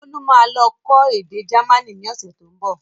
Bolu máa lọ kọ́ èdè jamaní ni ọ̀sẹ̀ tó ń bọ̀